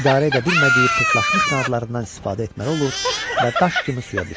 idarə edə bilmədiyi pırtlaşmış qanadlarından istifadə etməli olur və daş kimi suya düşürdü.